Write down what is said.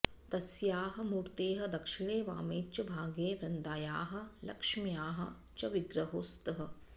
तस्याः मूर्तेः दक्षिणे वामे च भागे वृन्दायाः लक्ष्म्याः च विग्रहौ स्तः